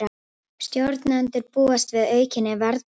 Stjórnendur búast við aukinni verðbólgu